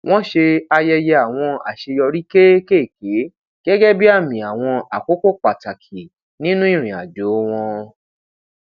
wọn ṣe àyẹyẹ àwọn aṣeyọri kéékèèké gẹgẹ bí àmi àwọn àkókò pàtàkì nínú ìrìnàjò wọn